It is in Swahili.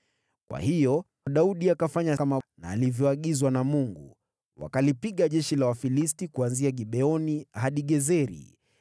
Kwa hiyo Daudi akafanya kama alivyoagizwa na Mungu, wakalipiga jeshi la Wafilisti kuanzia Gibeoni hadi Gezeri.